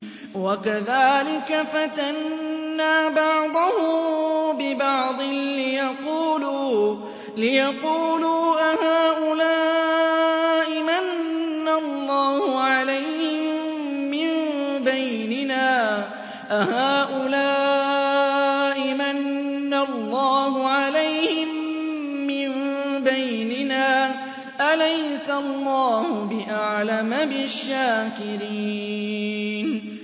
وَكَذَٰلِكَ فَتَنَّا بَعْضَهُم بِبَعْضٍ لِّيَقُولُوا أَهَٰؤُلَاءِ مَنَّ اللَّهُ عَلَيْهِم مِّن بَيْنِنَا ۗ أَلَيْسَ اللَّهُ بِأَعْلَمَ بِالشَّاكِرِينَ